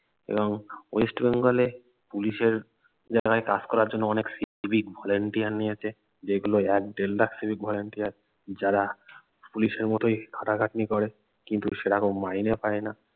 এবং ওয়েস্ট বেঙ্গলে পুলিশের জায়গায় কাজ করার জন্য অনেক সিভিক ভলেন্টিয়ার নিয়েছে যেগুলো সিভিক ভলেন্টিয়ার যারা পুলিশের মতোই খাটাখাটনি করে কিন্ত সেরকম মাইনে পায়না